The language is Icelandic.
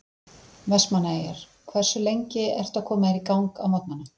Vestmanneyjar Hversu lengi ertu að koma þér í gang á morgnanna?